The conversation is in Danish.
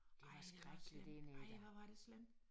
Det var skrækkeligt dernede da